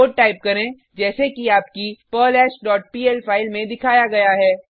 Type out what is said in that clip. code type करें जैसे कि आपकी पर्लहैश डॉट पीएल फाइल में दिखाया गया है